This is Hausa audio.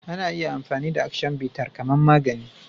Ana iya amfani da "Action bitter " kaman magani